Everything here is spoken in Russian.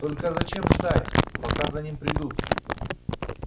только зачем ждать пока за ним придут